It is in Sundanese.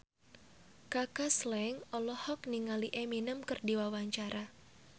Kaka Slank olohok ningali Eminem keur diwawancara